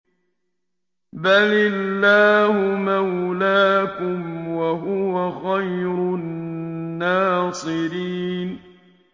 بَلِ اللَّهُ مَوْلَاكُمْ ۖ وَهُوَ خَيْرُ النَّاصِرِينَ